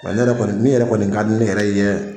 Wa ne yɛrɛ kɔni, min yɛrɛ kɔni ka di ne yɛrɛ ye